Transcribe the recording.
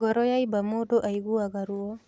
Ngoro yaimba mũndũ aiguaga ruo